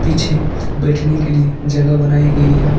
ये बैठने के लिए जगह बनाई गई है।